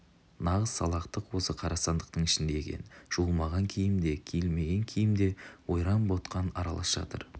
нағыз салақтық осы қара сандықтың ішінде екен жуылмаған киім де киілмеген киім де ойран-ботқан аралас жатыр